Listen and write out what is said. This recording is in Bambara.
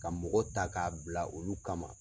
Ka mɔgɔ ta k'a bila olu kama.